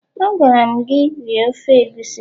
Agwara'm gi, rie ofe egusi